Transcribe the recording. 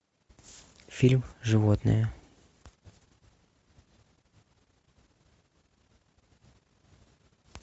фильм животные